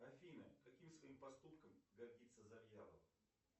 афина каким своим поступком гордится завьялов